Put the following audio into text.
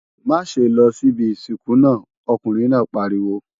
Má ṣe lọ síbi ìsìnkú náà, ọkùnrin náà pariwo!